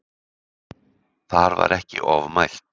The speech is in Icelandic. Þar var ekki ofmælt